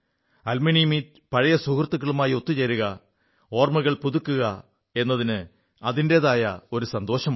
alumni meet പഴയ സുഹൃത്തുക്കളുമായി ഒത്തുചേരുക ഓർമ്മകൾ പുതുക്കുക എന്നതിന് അതിന്റേതായ ഒരു സന്തോഷമുണ്ട്